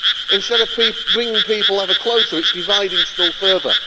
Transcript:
Instead of bringing people ever closer, it is dividing still further.